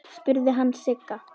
spurði hann Sigga.